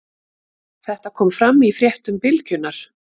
Þetta kom fram í fréttum Bylgjunnar